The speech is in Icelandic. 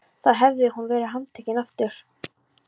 Þá hefði hún verið handtekin aftur.